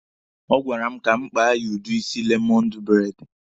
Ọ gwara m ka m kpa ya udi isi lemọndụ braidi.